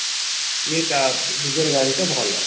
ଏ କା ନିଜର ଗାଡି ତ ଭଲ